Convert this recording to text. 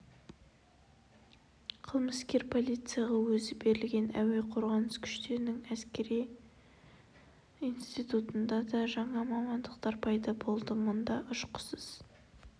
қылмыскер полицияға өзі берілген әуе қорғанысы күштерінің әскери институтында да жаңа мамандықтар пайда болды мұнда ұшқышсыз